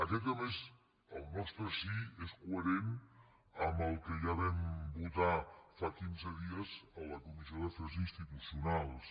aquest a més el nostre sí és coherent amb el que ja vam votar fa quinze dies a la comissió d’afers institucionals